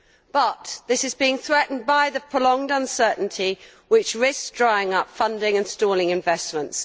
But this is being threatened by the prolonged uncertainly which risks drying up funding and stalling investments.